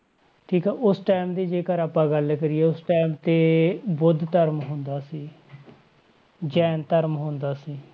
ਠੀਕ ਆ ਉਸ time ਦੀ ਜੇਕਰ ਆਪਾਂ ਗੱਲ ਕਰੀਏ, ਉਸ time ਤੇ ਬੁੱਧ ਧਰਮ ਹੁੰਦਾ ਸੀ ਜੈਨ ਧਰਮ ਹੁੰਦਾ ਸੀ,